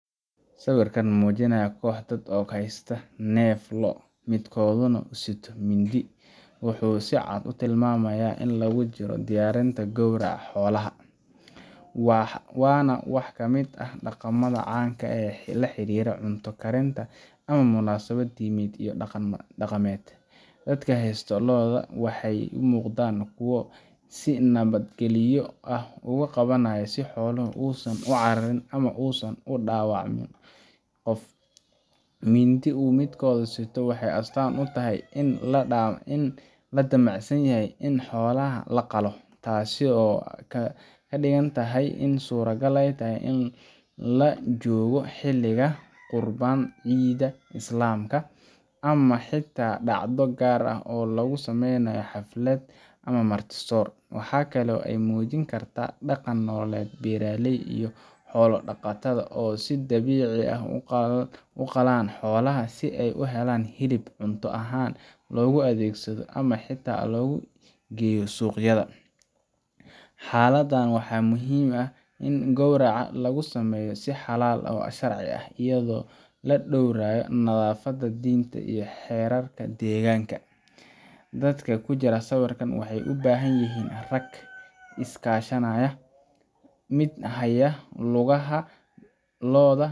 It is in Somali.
sibirkan mujinayah koc dad haysta nef loo'o ah midkoda nah usito mindi wuxu sii cad utilmayah ini lagu jiro diyarinta gowraca xolaha wana wax kamid ah daqamada canka ah oo laxarira cunta karinta iyo munasabad dined pl